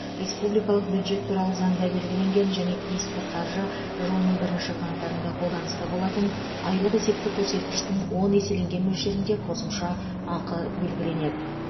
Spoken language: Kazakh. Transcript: республикалық бюджет туралы заңда белгіленген және тиісті қаржы жылының бірінші қаңтарында қолданыста болатын айлық есептік көрсеткіштің он еселенген мөлшерінде қосымша ақы белгіленеді